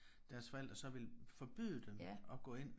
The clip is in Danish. Deres forældre så ville forbyde dem at gå ind